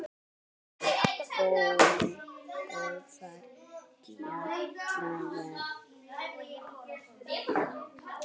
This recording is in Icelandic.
Það er góðra gjalda vert.